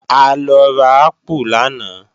A lọ ra ápù lánàá